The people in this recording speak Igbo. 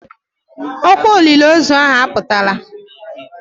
Ọkwa olile ozu ahụ aputala.